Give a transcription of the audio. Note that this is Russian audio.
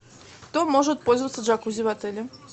кто может пользоваться джакузи в отеле